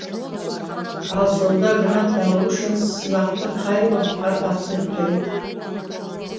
ал сонда грант алу үшін сынақты қай уақытта тапсыру керек